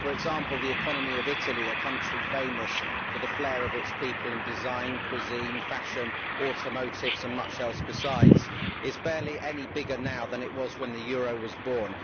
For example, the economy of Italy a country famous for the flair of its people in design, cuisine, fashion, automotive industry and much else besides is barely any bigger now than it was when the euro was born.